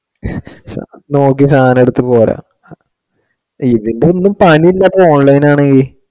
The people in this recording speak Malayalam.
നോക്കി സാധനം എടുത്തു പോരാം ഇതിപ്പോ എന്താ പണി മറ്റേ online ആണ്.